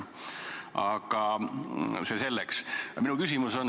Aga see selleks.